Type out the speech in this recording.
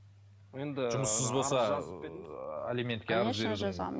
енді жұмыссыз болса